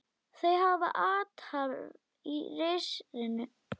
Þau hafa athvarf í risinu.